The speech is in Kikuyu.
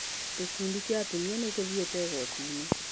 Gĩkundi kĩa atumia nĩ gĩthiĩte igoti-inĩ.